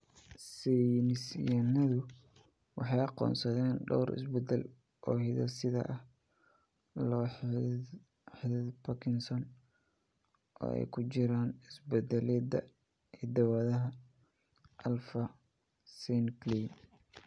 Saynis yahannadu waxay aqoonsadeen dhowr isbeddel oo hidde-side ah oo la xidhiidha Parkinson oo ay ku jiraan isbeddellada hidda-wadaha alfa synuclein.